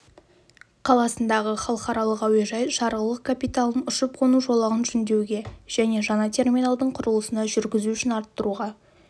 қаласындағы халықаралық әуежайы жарғылық капиталын ұшып-қону жолағын жөндеуге және жаңа терминалдың құрылысына жүргізу үшін арттыруға